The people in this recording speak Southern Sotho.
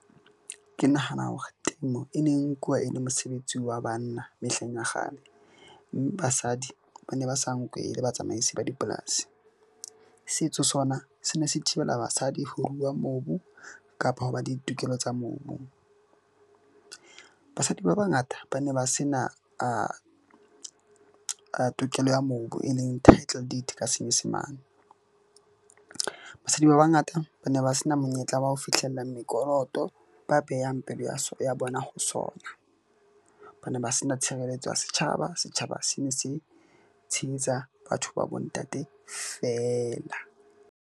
Ke nahana hore temo e neng nkuwa e le mosebetsi wa banna. Mehleng ya kgale basadi ba ne ba sa nkwe e le batsamaisi ba dipolasi. Setso sona se ne se thibela basadi ho rua mobu kapa ho ba le ditokelo tsa mobu. Basadi ba bangata ba ne ba sena tokelo ya mobu e leng title deed ka senyesemane. Basadi ba bangata ba ne ba se na monyetla wa ho fihlella mekoloto, ba behang pelo ya bona ho sona ba ne ba se na tshireletso ya setjhaba. Setjhaba se ne se tshehetsa batho ba bo ntate fela.